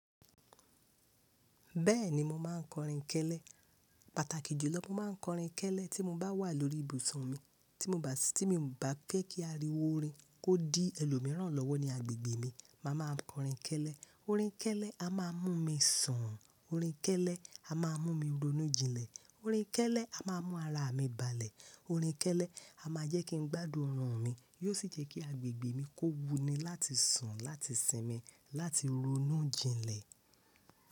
Bẹ́ẹ̀ni mo máa ń kọrin kẹ́lẹ́, pàtàkì jùlọ mo máa ń kọrin kẹ́lẹ́ tí mo bá wà lórí ibùsùn mi, tí mo bá, tí mi ò bá fẹ́ kí ariwo orin kó dí ẹlòmíràn lọ́wọ́ ní agbègbè mi, màá máa kọrin kẹ́lẹ́. Orin kẹ́lẹ́, a máa mú mi sùn, orin kẹ́lẹ́ a máa mú mi ronú jinlẹ̀, orin kẹ́lẹ́ a máa mú ara mi balẹ̀, orin kẹ́lẹ́ a máa jẹ́ kí n gbádùn ọrùn mi, yóò sì jẹ́ kí agbègbè mi kó wuni láti sùn, láti sinmi, láti ronú jinlẹ̀.